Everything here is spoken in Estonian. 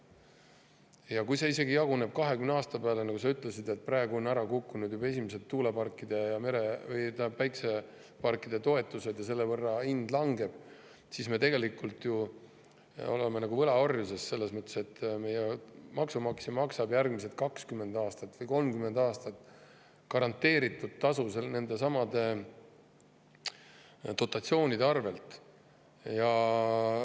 Isegi kui see jaguneb 20 aasta peale – nagu sa ütlesid, praegu on juba ära kukkunud esimeste tuuleparkide ja päikseparkide toetused ja selle võrra hind langeb –, siis me tegelikult oleme ju nagu võlaorjuses selles mõttes, et maksumaksja maksab järgmised 20 või 30 aastat garanteeritud tasu nendesamade dotatsioonide tõttu.